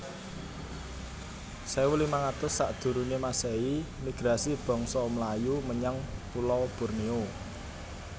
sewu limang atus sakdurunge masehi Migrasi bangsa Melayu menyang pulo Borneo